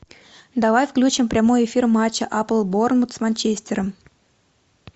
давай включим прямой эфир матча апл борнмут с манчестером